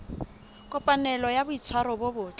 kopanelo ya boitshwaro bo botle